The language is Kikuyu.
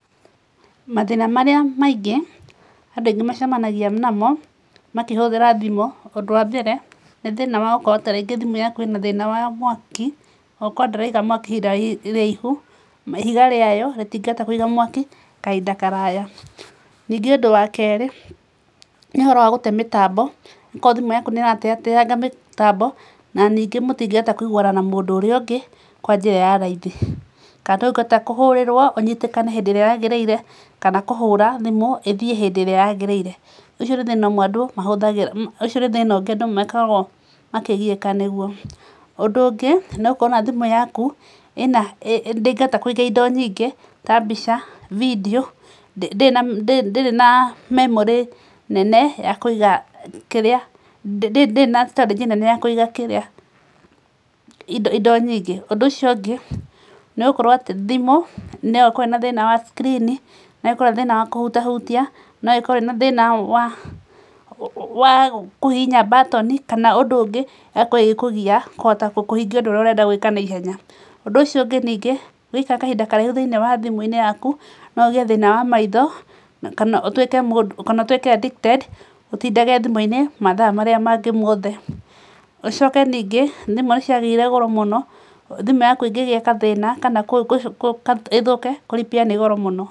Mathĩna marĩa maingĩ andũ aingĩ macemanagia namo makĩhũthĩra thimũ, ũndũ wa mbere nĩ thĩna wa gũkorwo ta rĩngĩ thimũ yaku ĩna thĩna wa mwaki na gũkorwo ndĩraiga mwaki ihinda iraihu na ihiga rĩayo rĩtingĩhota kũiga mwaki kahinda karaya. Ningĩ ũndũ wa kerĩ nĩ ũhoro wa gũte mĩtambo, okorwo thimũ yaku nĩ ĩrateateaga mĩtambo na ningĩ mũtingĩhota kũiguana na mũndũ ũrĩa ũngĩ kwa njĩra ya raithi. Kana ndũngĩhota kũhũrĩrwo ũnyitĩkane hĩndĩ ĩrĩa yaagĩrĩire kana kũhũra thimũ ĩthiĩ hĩndĩ ĩrĩa yaagĩrĩire. Ũcio nĩ thĩna ũngĩ andũ makoragwo makĩgiĩka nĩguo. Ũndũ ũngĩ no ũkore ona thimũ yaku ndĩngĩhota kũiga indo nyingĩ ta mbica, vidiũ, ndĩrĩ na memory nene ya kũiga ndĩrĩ na storage nene ya kũiga indo nyingĩ. Ũndũ ũcio ũngĩ nĩ gũkorwo atĩ thimũ no ĩkorwo ĩna thĩna wa screen, no ĩkorwo ĩna thĩna wa kũhutahutia, no ĩkorwo ĩna thĩna wa kũhihinya button kana ũndũ ũngĩ ĩgakorwo ĩgĩkũgia kũhota kũhingia ũndũ ũrenda gwĩka naihenya. Ũndũ ũcio ũngĩ ningĩ ũngĩikara kahinda karaihu thĩinĩ wa thimũ yaku, no ũgĩe thĩna wa maitho na kana ũtuĩke addicted ũtindage thimũ-inĩ mathaa marĩa magĩ mothe. Ũcoke ningĩ thimũ ciagĩire goro mũno, thimũ yaku ĩngĩgĩa gathĩna kana ĩthũke kũ repair nĩ goro mũno.